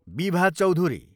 Bibha Chaudhuri